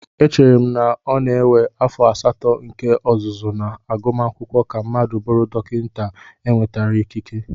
Echere m na ọ na-ewe afọ asatọ nke ọzụzụ na agumakwụkwọ ka mmadụ bụrụ dọkịta enwetara ikike